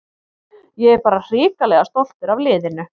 Ég er bara hrikalega stoltur af liðinu.